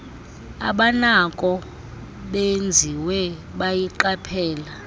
abanako benziwe bayiqaphela